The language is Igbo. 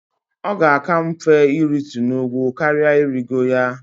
Ọ ga-aka mfe iritu n'ugwu karỊa irigo ya.